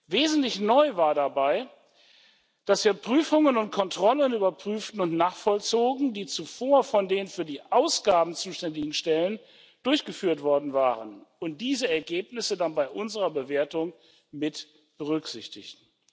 Wesentlich neu war dabei, dass wir Prüfungen und Kontrollen überprüften und nachvollzogen, die zuvor von den für die Ausgaben zuständigen Stellen durchgeführt worden waren, und diese Ergebnisse dann bei unserer Bewertung mit berücksichtigten.